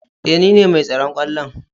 Eh nine mai tsaron kwallon.